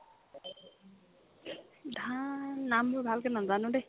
ধান নামবোৰ ভালকে নাজানো দেহ্